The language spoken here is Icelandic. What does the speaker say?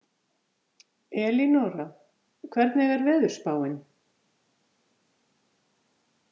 Elínora, hvernig er veðurspáin?